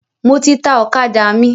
Mo ti ta ọ̀kadà mi.